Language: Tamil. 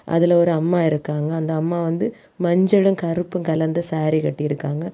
அதுல ஒரு அம்மா இருக்காங்க அந்த அம்மா வந்து மஞ்சளை கருப்பு கலந்த சாரி கட்டி இருக்காங்க.